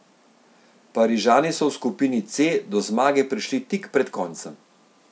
Parižani so v skupini C do zmage prišli tik pred koncem.